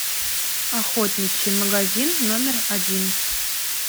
охотничий магазин номер один